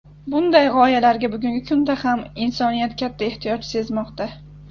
Bunday g‘oyalarga bugungi kunda ham insoniyat katta ehtiyoj sezmoqda.